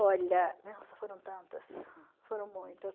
Olha, nossa, foram tantas, foram muitas.